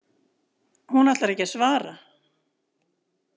Hún ætlar ekki að svara.